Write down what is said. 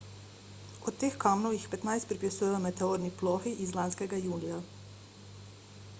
od teh kamnov jih petnajst pripisujejo meteorni plohi iz lanskega julija